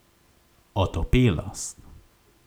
Otopelost.